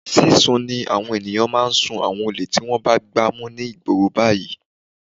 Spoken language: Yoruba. Sísun ni àwọn ènìyàn ń sún àwọn olè tí wọ́n bá gbá mú ní ìgboro báyìí.